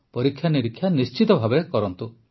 ପରୀକ୍ଷା ନିରୀକ୍ଷା ନିଶ୍ଚିତ ଭାବେ କରନ୍ତୁ